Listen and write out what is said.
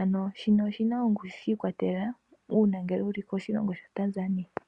Ano shino oshina ongushu shi ikwatelele uuna wuli koshilongo sha Tanzania.